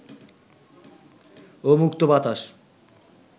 ও মুক্ত বাতাস